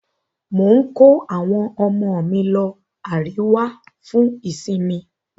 Mò ń kó àwọn ọmọ mi lọ Àríwá fún ìsinmi